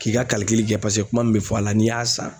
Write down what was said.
K'i ka kalikili kɛ paseke kuma min bɛ fɔ a la n'i y'a san